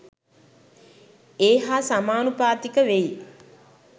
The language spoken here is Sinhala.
ඒ හා සමානුපාතික වෙයි.